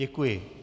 Děkuji.